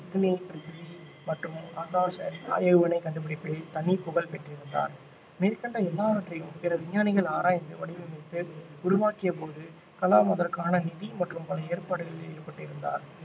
அக்னி பிரித்வி மற்றும் ஆகாஷ் ஏவுகணை கண்டுபிடிப்பில் தனி புகழ் பெற்றிருந்தார் மேற்கண்ட எல்லாவற்றையும் பிற விஞ்ஞானிகள் ஆராய்ந்து வடிவமைத்து உருவாக்கிய போது கலாம் அதற்கான நிதி மற்றும் பல ஏற்பாடுகளில் ஈடுபட்டிருந்தார்